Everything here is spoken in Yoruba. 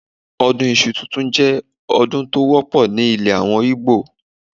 Ọdún Iṣu tuntun jẹ́ ọdún tó wọ́pọ̀ ní ilè àwọn Ìgbò.